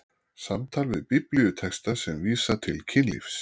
SAMTAL VIÐ BIBLÍUTEXTA SEM VÍSA TIL KYNLÍFS